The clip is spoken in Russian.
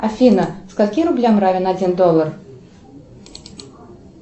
афина скольки рублям равен один доллар